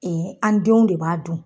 an denw de b'a dun